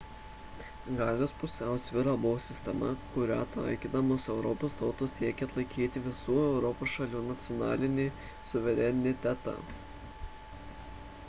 galios pusiausvyra buvo sistema kurią taikydamos europos tautos siekė išlaikyti visų europos šalių nacionalinį suverenitetą